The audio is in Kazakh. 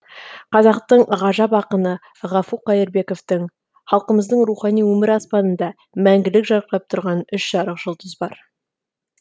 қазақтың ғажап ақыны ғафу қайырбековтың халқымыздың рухани өмір аспанында мәңгілік жарқырап тұрған үш жарық жұлдыз бар